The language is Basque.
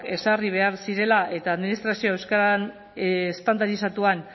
ezarri behar zirela eta administrazio euskara estandarizatuan